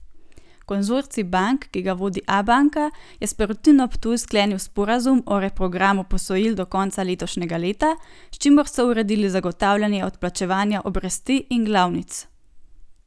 Konzorcij bank, ki ga vodi Abanka, je s Perutnino Ptuj sklenil sporazum o reprogramu posojil do konca letošnjega leta, s čimer so uredili zagotavljanje odplačevanja obresti in glavnic.